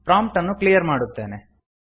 prompt ಅನ್ನು clear ಮಾಡುತ್ತೇನೆ